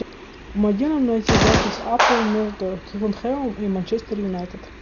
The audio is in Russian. помоги нам найти запись апл между тоттенхэмом и манчестер юнайтед